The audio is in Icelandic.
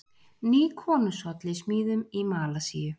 Ný konungshöll í smíðum í Malasíu